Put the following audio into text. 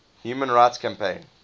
human rights campaign